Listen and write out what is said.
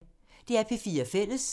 DR P4 Fælles